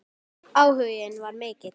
Áhuginn var mikill.